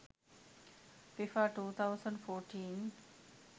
fifa 2014